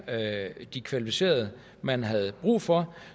de kvalificerede man havde brug for